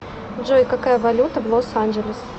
джой какая валюта в лос анджелес